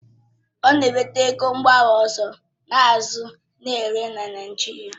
Ọ na-eweta ego mba ọzọ a na-azụ na-ere na Naijiria